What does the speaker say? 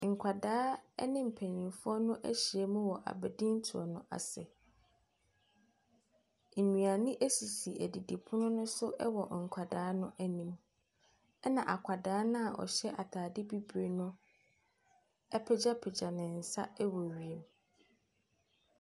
Nkwadaa ɛne mpanyinfoɔ no ahyiam wɔ abadintoɔ no ase. Nnuane esisi adidipono no so wɔ nkwadaa n'anim. Ɛna akwadaa no a ɔhyɛ ataade bibre no apegyapegya ne nsa ɛwɔ wiem.